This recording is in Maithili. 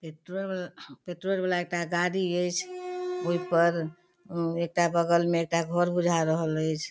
पेट्रोल पेट्रोल वाला एकटा गाड़ी ऐच्छ ओय पर बगल मे एकटा घर बुझा रहल ऐच्छ।